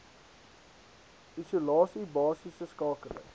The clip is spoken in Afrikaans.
isolasie basiese skakeling